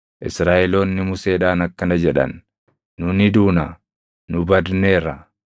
Israaʼeloonni Museedhaan akkana jedhan; “Nu ni duuna! Nu badneerra; nu hundinuu badneerra!